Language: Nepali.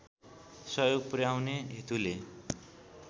सहयोग पुर्‍याउने हेतुले